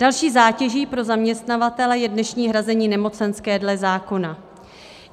Další zátěží pro zaměstnavatele je dnešní hrazení nemocenské dle zákona.